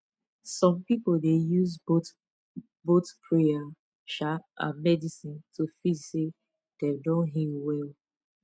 some people dey use both both prayer um and medicine to feel say dem don heal well